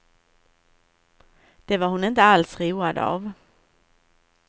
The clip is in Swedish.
Det var hon inte alls road av.